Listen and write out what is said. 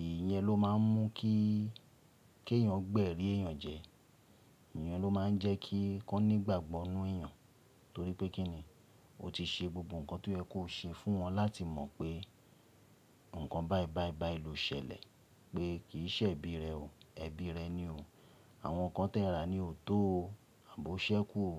ìyẹn ló máa n mú kí kí èèyàn gbẹ́rí èèyàn jẹ ìyàn ló máa ń jẹ́ kí kí wọn nígbàgbọ́ n nú èèyàn. Torí pé kínni? Ó ti ṣe gbogbo ǹkan tó yẹ kó ṣe fún wọn láti mọ̀ pé ǹkan báì báì báì ló ṣẹlẹ̀. Pé kìí ṣe ẹbí rẹ o. Ẹbí rẹ ni o. Àwọn ǹkan tẹ ra ni ò tó o. Àbí o ṣẹ́kù o.